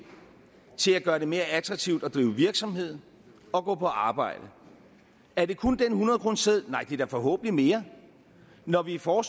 til at gøre det mere attraktivt at drive virksomhed og gå på arbejde er det kun den hundredkroneseddel nej det er da forhåbentlig mere når vi for